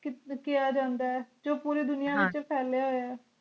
ਕੀਆ ਜਾਂਦਾ ਜੋ ਪੂਰੀ ਦੁਨੀਆ ਹਨ ਵਿਚ ਫੈਲਿਆ ਹੋਇਆ